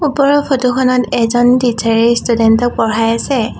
ওপৰৰ ফটো খনত এজন টিছাৰে এ ষ্টুডেন্ট ক পঢ়াই আছে।